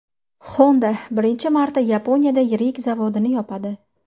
Honda birinchi marta Yaponiyada yirik zavodini yopadi.